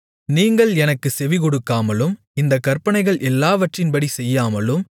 நீங்கள் எனக்குச் செவிகொடுக்காமலும் இந்தக் கற்பனைகள் எல்லாவற்றின்படி செய்யாமலும்